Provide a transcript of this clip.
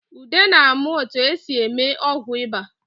Ude na-amụ etu e si eme ọgwụ ịba